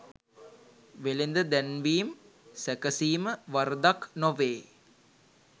වෙළෙඳ දැන්වීම් සැකසීම වරදක් නොවේ.